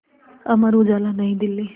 Amar Ujala New Delhi